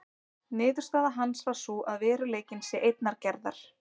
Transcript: Niðurstaða hans var sú að veruleikinn sé einnar gerðar.